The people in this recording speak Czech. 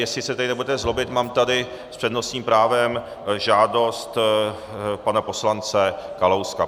Jestli se tedy nebudete zlobit, mám tady s přednostním právem žádost pana poslance Kalouska.